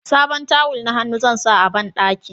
sabon tawul na hannu zan sa a banɗaki